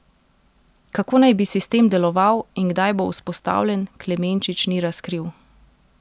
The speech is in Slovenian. Kako naj bi sistem deloval in kdaj bo vzpostavljen, Klemenčič ni razkril.